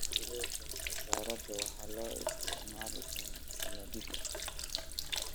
Fruita qajaarada waxaa loo isticmaali karaa saladhiga.